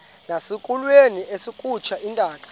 nasekulweni akhutshwe intaka